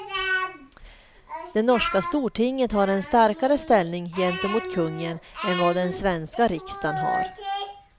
Det norska stortinget har en starkare ställning gentemot kungen än vad den svenska riksdagen har.